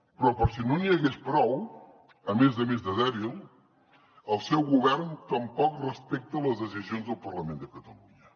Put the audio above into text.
però per si no n’hi hagués prou a més a més de dèbil el seu govern tampoc respecta les decisions del parlament de catalunya